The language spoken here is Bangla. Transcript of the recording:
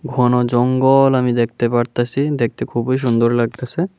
ঘন জঙ্গল আমি দেখতে পারতাছি দেখতে খুবই সুন্দর লাগতাছে।